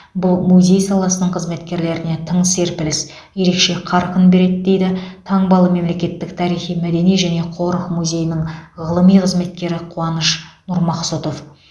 бұл музей саласының қызметкерлеріне тың серпіліс ерекше қарқын береді дейді таңбалы мемлекеттік тарихи мәдени және қорық музейінің ғылыми қызметкері қуаныш нұрмақсұтов